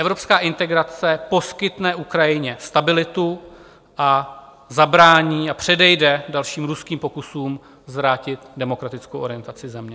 Evropská integrace poskytne Ukrajině stabilitu a zabrání a předejde dalším ruským pokusům zvrátit demokratickou orientaci země.